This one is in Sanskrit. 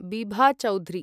बिभा चौधुरी